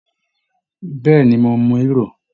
Bẹ́ẹ̀ ni, mo mu hírò